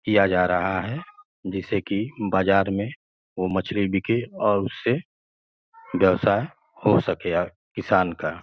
किया जा रहा है जिससे कि बाजार में वो मछली बिके और उससे व्यवसाय हो सके ओर किसान का।